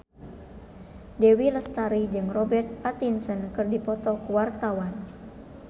Dewi Lestari jeung Robert Pattinson keur dipoto ku wartawan